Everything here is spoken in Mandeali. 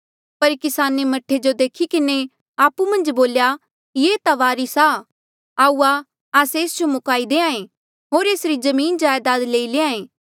पर किसाने मह्ठे जो देखी किन्हें आपु मन्झ बोल्या ये ता वारिस आ आऊआ आस्से एस जो मुकाई देहां ऐें होर एसरी जमीनजायदाद लई लैंहां ऐें